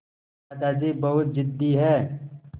दादाजी बहुत ज़िद्दी हैं